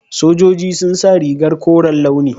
Sojoji sun sa rigar koren launi.